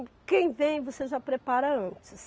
Quem vem, você já prepara antes.